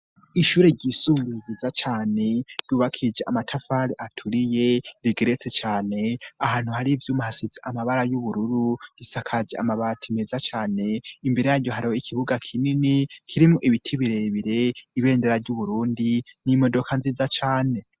Ishure ryisumbuye ryiza cane, ryubakije amatafari aturiye rigeretse cane, ahantu hari ivyuma hasize amabara y'ubururu, risakaje amabati meza cane, imbere yaryo hariyo ikibuga kinini kirimwo ibiti birebire, ibendera ry'uburundi n'imodoka nziza cane.